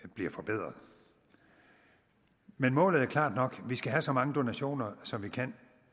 bliver forbedret men målet er klart nok vi skal have så mange donationer som vi kan